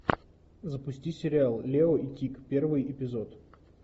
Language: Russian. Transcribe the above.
запусти сериал лео и тиг первый эпизод